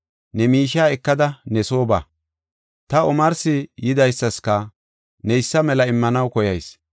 Ne miishiya ekada ne soo ba. Ta omarsi yidaysaska neysa mela immanaw koyayis.